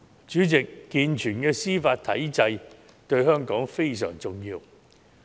主席，健全的司法體制對香港非常重要。